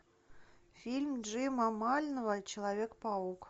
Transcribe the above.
фильм джима мальнова человек паук